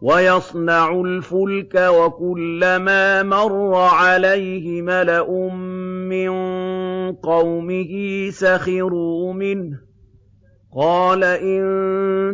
وَيَصْنَعُ الْفُلْكَ وَكُلَّمَا مَرَّ عَلَيْهِ مَلَأٌ مِّن قَوْمِهِ سَخِرُوا مِنْهُ ۚ قَالَ إِن